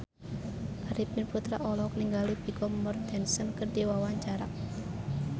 Arifin Putra olohok ningali Vigo Mortensen keur diwawancara